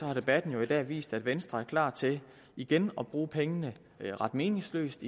har debatten jo i dag vist at venstre er klar til igen at bruge pengene ret meningsløst